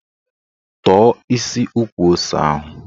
Tọ̀ọ́ isi ukwu ose ahụ!